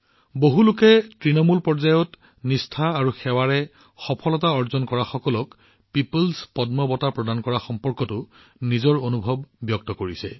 বহুলোকে তৃণমূল পৰ্যায়ত তেওঁলোকৰ নিষ্ঠা আৰু সেৱাৰ জৰিয়তে পিপলছ পদ্ম অৰ্জন কৰা লোকসকল সম্পৰ্কে তেওঁলোকৰ অনুভূতি ভাগবতৰা কৰিছে